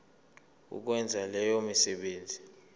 ukwenza leyo misebenzi